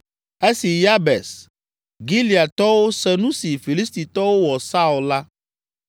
Esi Yabes Gileadtɔwo se nu si Filistitɔwo wɔ Saul la,